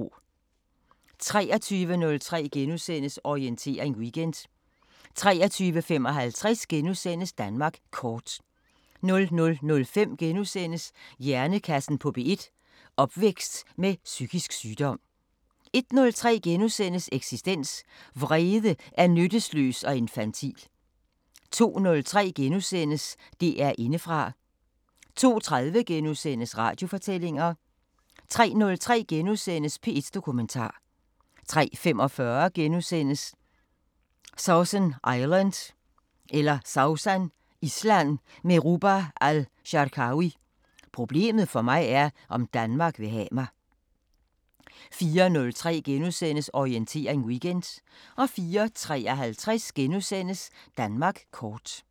23:03: Orientering Weekend * 23:55: Danmark Kort * 00:05: Hjernekassen på P1: Opvækst med psykisk sygdom * 01:03: Eksistens: Vrede er nytteløs og infantil * 02:03: DR Indefra * 02:30: Radiofortællinger * 03:03: P1 Dokumentar * 03:45: Sausan Island med Ruba Al-Sharkawi: "Problemet for mig er, om Danmark vil have mig" * 04:03: Orientering Weekend * 04:53: Danmark Kort *